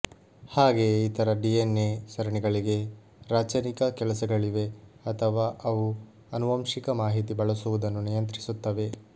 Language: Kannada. ಹಾಗೆಯೇ ಇತರ ಡಿಎನ್ಎ ಸರಣಿಗಳಿಗೆ ರಾಚನಿಕ ಕೆಲಸಗಳಿವೆ ಅಥವಾ ಅವು ಅನುವಂಶಿಕ ಮಾಹಿತಿ ಬಳಸುವುದನ್ನು ನಿಯಂತ್ರಿಸುತ್ತವೆ